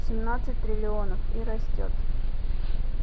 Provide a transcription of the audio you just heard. семнадцать триллионов и растёт